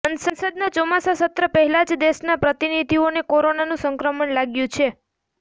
સંસદના ચોમાસુ સત્ર પહેલા જ દેશના પ્રતિનિધિઓને કોરોનાનું સંક્રમણ લાગ્યું છે